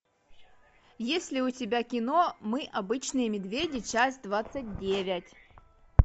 есть ли у тебя кино мы обычные медведи часть двадцать девять